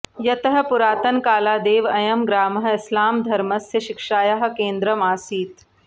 यतः पुरातनकालादेव अयं ग्रामः इस्लामधर्मस्य शिक्षायाः केन्द्रम् आसीत्